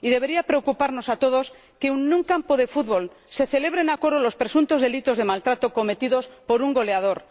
Debería preocuparnos a todos que en un campo de futbol se celebren a coro los presuntos delitos de maltrato cometidos por un goleador.